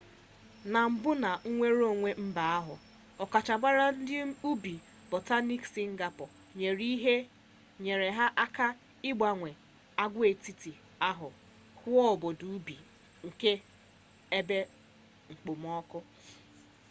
na mbụ na nnwereonwe mba ahụ ọkachamara nke ubi botaniik sịngapọọ nyere ha aka ịgbanwe agwaetiti ahụ ghụọ obodo ubi nke ebe okpomọkụ